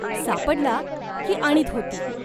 सापडला की आणीत होती.